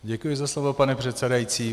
Děkuji za slovo, pane předsedající.